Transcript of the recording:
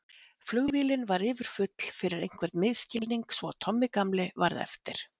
Flugvélin var yfirfull fyrir einhvern misskilning svo að Tommi gamli varð eftir.